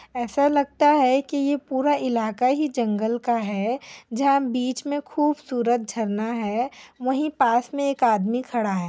ऐसा लगता है की ये पूरा इलाका ही जंगल का है जहाँ बीच में खूबसूरत झरना है वहीं पास में एक आदमी खडा है।